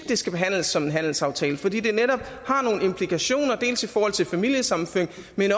det skal behandles som en handelsaftale fordi det netop har nogle implikationer dels i forhold til familiesammenføring